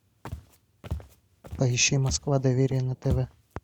поищи москва доверие на тв